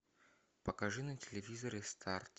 покажи на телевизоре старт